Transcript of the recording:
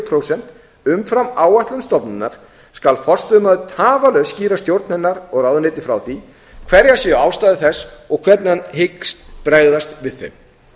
prósent umfram áætlun stofnunar skal forstöðumaður tafarlaust skýra stjórn hennar og ráðuneyti frá því hverjar séu ástæður þess og hvernig hann hyggst bregðast við þeim